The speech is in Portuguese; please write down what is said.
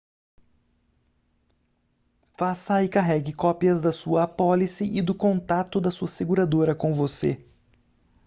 faça e carregue cópias da sua apólice e do contato da sua seguradora com você